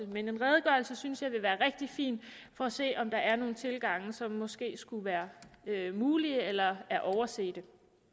men en redegørelse synes jeg det vil være rigtig fint med for at se om der er nogle tilgange som måske skulle være mulige eller er overset